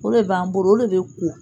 O le b'an bolo o le bɛ ko